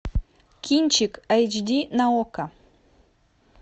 кинчик айч ди на окко